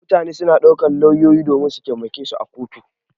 Mutane suna ɗaukar lauyoyi domin su taimake su a kotu.